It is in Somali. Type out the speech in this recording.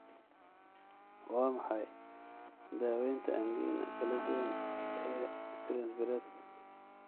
Waa maxay daawaynta angina kala duwan ee Prinzbiredka?